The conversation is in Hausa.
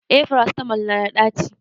eh farasitamol nada daci